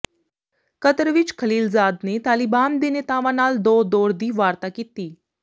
Qatar ਵਿਚ ਖਲੀਲਜ਼ਾਦ ਨੇ ਤਾਲਿਬਾਨ ਦੇ ਨੇਤਾਵਾਂ ਨਾਲ ਦੋ ਦੌਰ ਦੀ ਵਾਰਤਾ ਕੀਤੀ